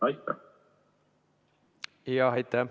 Aitäh!